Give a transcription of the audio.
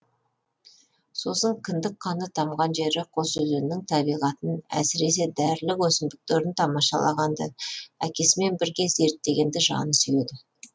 сосын кіндік қаны тамған жері қосөзеннің табиғатын әсіресе дәрілік өсімдіктерін тамашалағанды әкесімен бірге зерттегенді жаны сүйеді